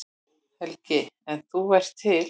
Helgi: En þú ert til?